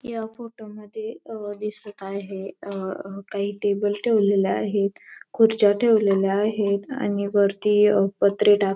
या फोटो मध्ये अहं दिसत आहे अहं अहं काही टेबल ठेवलेले आहेत खुर्च्या ठेवलेले आहेत आणि वरती अहं पत्रे टाक --